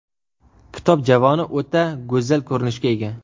Kitob javoni o‘ta go‘zal ko‘rinishga ega.